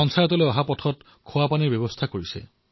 পঞ্চায়তলৈ অহা পথত পানীৰ ব্যৱস্থা কৰিছে